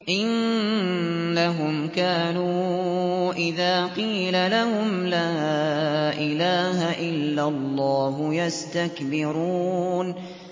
إِنَّهُمْ كَانُوا إِذَا قِيلَ لَهُمْ لَا إِلَٰهَ إِلَّا اللَّهُ يَسْتَكْبِرُونَ